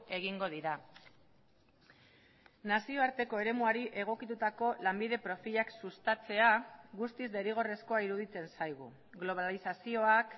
egingo dira nazioarteko eremuari egokitutako lanbide profilak sustatzea guztiz derrigorrezkoa iruditzen zaigu globalizazioak